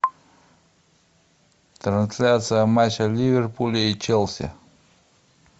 трансляция матча ливерпуля и челси